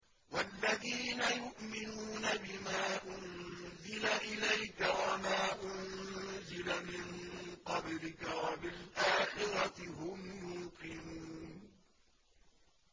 وَالَّذِينَ يُؤْمِنُونَ بِمَا أُنزِلَ إِلَيْكَ وَمَا أُنزِلَ مِن قَبْلِكَ وَبِالْآخِرَةِ هُمْ يُوقِنُونَ